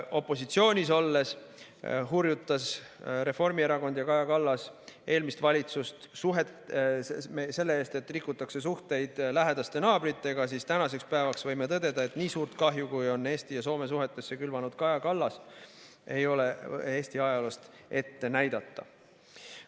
Opositsioonis olles hurjutas Reformierakond ja Kaja Kallas eelmist valitsust selle eest, et rikutakse suhteid lähedaste naabritega, ent tänaseks päevaks võime tõdeda, et nii suurt kahju, kui on Eesti ja Soome suhetesse külvanud Kaja Kallas, ei ole Eesti ajaloost ette näidata.